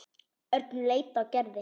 Örn leit á Gerði.